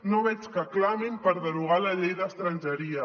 no veig que clamin per derogar la llei d’estrangeria